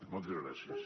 moltes gràcies